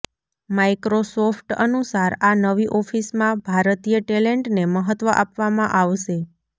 Microsoft અનુસાર આ નવી ઓફિસમાં ભારતીય ટેલેન્ટને મહત્વ આપવામા આવશે